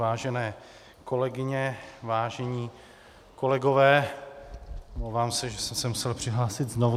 Vážené kolegyně, vážení kolegové, omlouvám se, že jsem se musel přihlásit znovu.